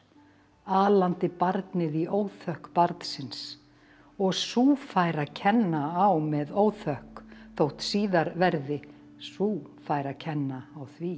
alandi barnið í óþökk barnsins og sú fær að kenna á með óþökk þótt síðar verði sú fær að kenna á því